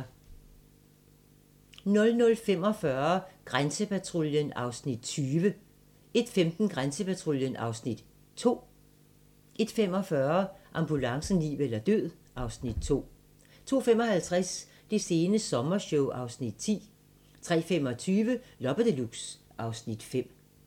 00:45: Grænsepatruljen (Afs. 20) 01:15: Grænsepatruljen (Afs. 2) 01:45: Ambulancen - liv eller død (Afs. 2) 02:55: Det sene sommershow (Afs. 10) 03:25: Loppe Deluxe (Afs. 5)